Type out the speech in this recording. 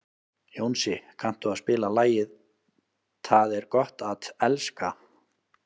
Jónsi, kanntu að spila lagið „Tað er gott at elska“?